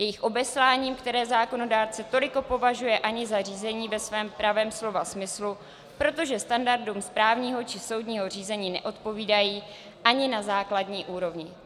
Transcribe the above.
Jejich obesláním, které zákonodárce toliko považuje ani za řízení ve svém pravém slova smyslu, protože standardům správního či soudního řízení neodpovídají ani na základní úrovni.